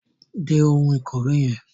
Dé oun ìkòwé yen